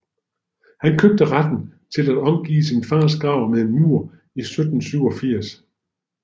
Han købte retten til at omgive sin fars grav med en mur i 1787